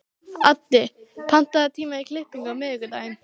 Addi, pantaðu tíma í klippingu á miðvikudaginn.